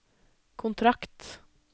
kontrakt